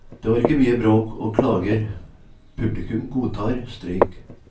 Det var ikke mye bråk og klager, publikum godtar streik.